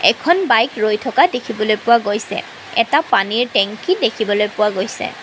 এখন বাইক ৰৈ থকা দেখিবলৈ পোৱা গৈছে এটা পানীৰ টেংকি দেখিবলৈ পোৱা গৈছে।